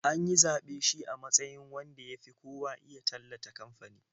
An yi zaɓe shi a matsayin wanda ya fi kowa iya tallata kamfanin.